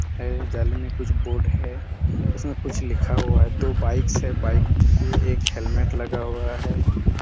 है जाली में कुछ बोर्ड है उसमे कुछ लिखा हुआ है दो बाइक्स है बाइक के एक हेलमेट लगा हुआ है।